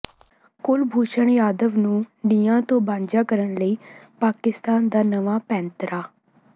ਕੁਲਭੂਸ਼ਣ ਜਾਧਵ ਨੂੰ ਨਿਆਂ ਤੋਂ ਵਾਂਝਾ ਕਰਨ ਲਈ ਪਾਕਿਸਤਾਨ ਦਾ ਨਵਾਂ ਪੈਂਤੜਾ